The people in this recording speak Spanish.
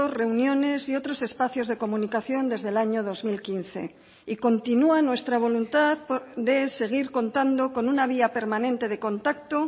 reuniones y otros espacios de comunicación desde el año dos mil quince y continúa nuestra voluntad de seguir contando con una vía permanente de contacto